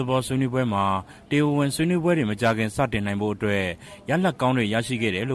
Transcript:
သဘော ဆွေးနွေးပွဲကတဆင့် တရားဝင်ဆွေးနွေးပွဲတွေကို အမြန်ဆုံးသွားနိုင်ဖို့အတွက် တိုးတက်မှုတွေ ရရှိခဲ့တယ်လ